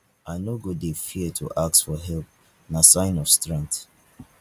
i no go dey fear to ask for help na sign of strength.